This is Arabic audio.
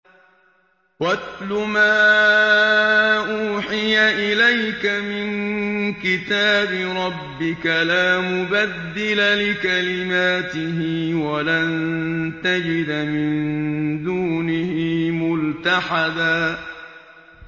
وَاتْلُ مَا أُوحِيَ إِلَيْكَ مِن كِتَابِ رَبِّكَ ۖ لَا مُبَدِّلَ لِكَلِمَاتِهِ وَلَن تَجِدَ مِن دُونِهِ مُلْتَحَدًا